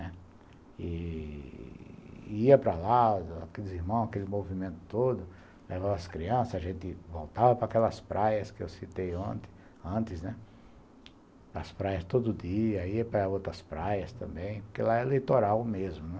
E ia para lá, aqueles irmãos, aquele movimento todo, levava as crianças, a gente voltava para aquelas praias que eu citei antes, as praias todo dia, ia para outras praias também, porque lá é eleitoral mesmo, né.